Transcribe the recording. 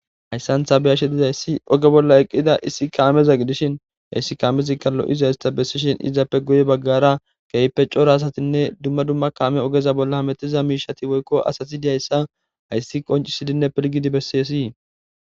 Hayssanthabeyashe dizayssi oge bolla eqqida issi kaameza gidishin hyssi kaamezikka lo'iza ista bessishin izappe guye baggara keype cora asatinne dumma dumma kaame ogeza bolla hametiza miishati woykko asati dihayssa hayssi qoncisidinne pilgidi besseesii.